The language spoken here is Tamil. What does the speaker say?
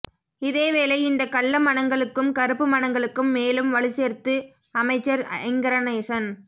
இதேவேளை இந்த கள்ள மனங்களுக்கும் கறுப்பு மனங்களுக்கும் மேலும் வலுச்சேர்த்து அமைச்சர் ஐங்கரநேசன்